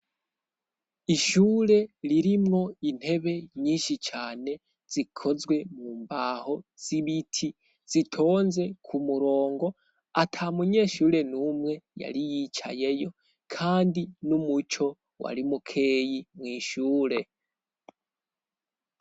Ishure ririmwo intebe nyinshi cane zikozwe mu mbaho z'ibiti, zitonze ku murongo ata munyeshure n'umwe yari yicayeyo kandi n'umuco wari mukeyi mw' ishure.